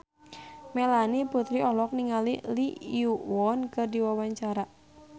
Melanie Putri olohok ningali Lee Yo Won keur diwawancara